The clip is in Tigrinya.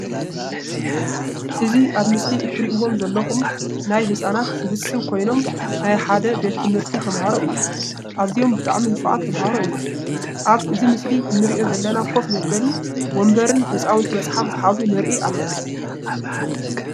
እዚ ኣብ ምስሊ እትርእይዎም ዘለኩም ናይ ህፃናት ስብስብ ኮይኖም ናይ ሓደ ቤት ትምህርቲ ተማህሮ እዮም። ኣዝዮም ብጣዕሚ ንፋዓት ተማህሮ እዮም። ኣብ እዚ ምስሊ እንርእዮ ዘለና ከፍ መበሊ ወንበርን ህፃውንቲ መፅሓፍ ዝሓዙ ንርኢ ኣለና።